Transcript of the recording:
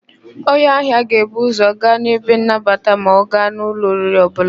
Onye ahịa ga-ebu ụ́zọ̀ gaa n'ebe nnabata ma ọ gaa n' ụlọ oriri ọbụla.